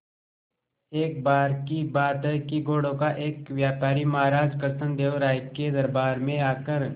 एक बार की बात है कि घोड़ों का एक व्यापारी महाराज कृष्णदेव राय के दरबार में आकर